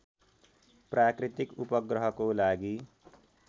प्राकृतिक उपग्रहको लागि